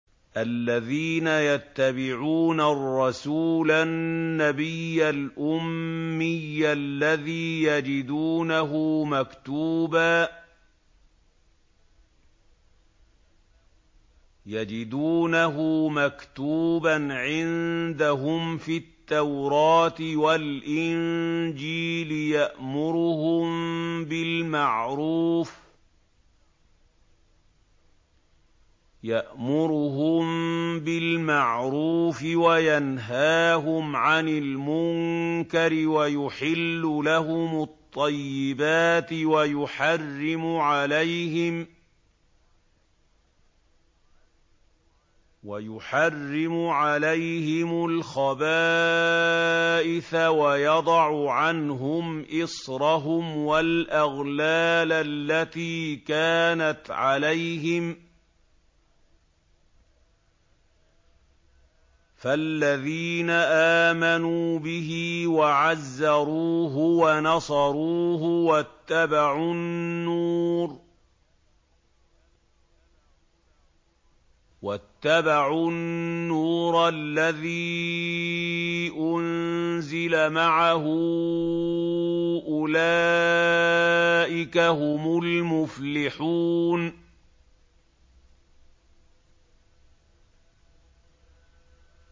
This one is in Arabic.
الَّذِينَ يَتَّبِعُونَ الرَّسُولَ النَّبِيَّ الْأُمِّيَّ الَّذِي يَجِدُونَهُ مَكْتُوبًا عِندَهُمْ فِي التَّوْرَاةِ وَالْإِنجِيلِ يَأْمُرُهُم بِالْمَعْرُوفِ وَيَنْهَاهُمْ عَنِ الْمُنكَرِ وَيُحِلُّ لَهُمُ الطَّيِّبَاتِ وَيُحَرِّمُ عَلَيْهِمُ الْخَبَائِثَ وَيَضَعُ عَنْهُمْ إِصْرَهُمْ وَالْأَغْلَالَ الَّتِي كَانَتْ عَلَيْهِمْ ۚ فَالَّذِينَ آمَنُوا بِهِ وَعَزَّرُوهُ وَنَصَرُوهُ وَاتَّبَعُوا النُّورَ الَّذِي أُنزِلَ مَعَهُ ۙ أُولَٰئِكَ هُمُ الْمُفْلِحُونَ